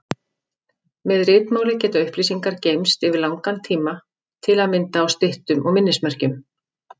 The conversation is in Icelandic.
Með ritmáli geta upplýsingar geymst yfir langan tíma, til að mynda á styttum og minnismerkjum.